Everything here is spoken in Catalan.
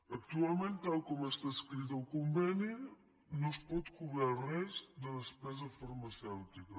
actualment tal com està escrit el conveni no es pot cobrar res de despesa farmacèutica